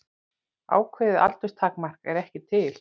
Ákveðið aldurstakmark er ekki til.